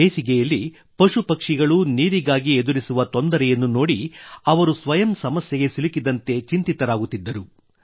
ಬೇಸಿಗೆಯಲ್ಲಿ ಪಶುಪಕ್ಷಿಗಳು ನೀರಿಗಾಗಿ ಎದುರಿಸುವ ತೊಂದರೆಯನ್ನು ನೋಡಿ ಅವರು ಸ್ವಯಂ ಸಮಸ್ಯೆಗೆ ಸಿಲುಕಿದಂತೆ ಚಿಂತಿತರಾಗುತ್ತಿದ್ದರು